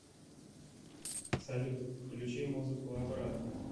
салют включи музыку обратно